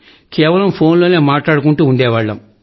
కేవలం ఫోన్ లో మాట్లాడుకుంటూ ఉండేవాళ్లం